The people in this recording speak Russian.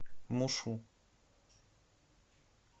мушу